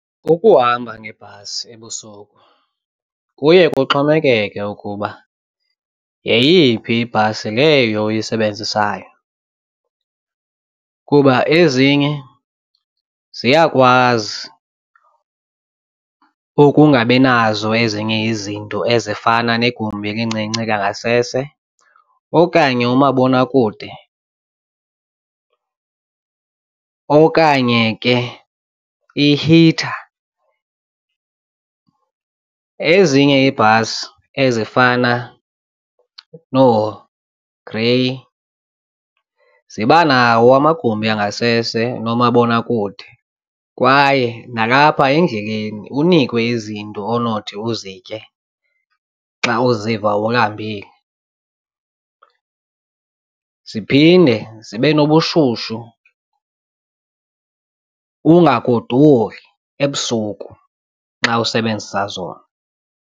Ukuhamba ngebhasi ebusuku kuye kuxhomekeke ukuba yeyiphi ibhasi leyo uyisebenzisayo kuba ezinye ziyakwazi ukungabi nazo ezinye izinto ezifana negumbi elincinci langasese okanye umabonakude okanye ke i-heater. Ezinye iibhasi ezifana nooGrey ziba nawo amagumbi angasese noomabonakude kwaye nalapha endleleni unikwe izinto onothi uzitye xa uziva ulambile ziphinde zibe nobushushu ungagodoli ebusuku nxa usebenzisa zona.